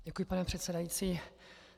Děkuji, pane předsedající.